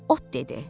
Od dedi.